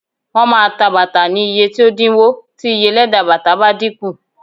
Shoes will be sold at cheaper prices if the cost of leather decreases